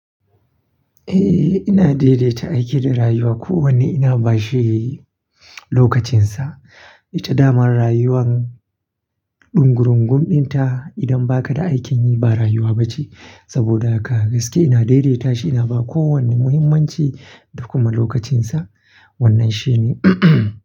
Eh, ina daidaita aiki da rayuwa. Ko wanne ina bashi lokacinsa. Ita damar rayuwan dungurungun dinta. Idan ba ka da aikin yi ba rayuwa ba ce. Saboda haka gaske ina daidaita shi, ina ba kowanne muhimmanci da kuma lokacinsa. Wannan shine.